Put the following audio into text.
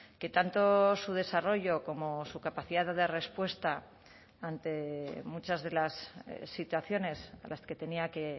que tanto su desarrollo como su capacidad de respuesta ante muchas de las situaciones a las que tenía que